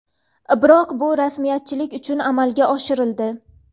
Biroq bu rasmiyatchilik uchun amalga oshirildi.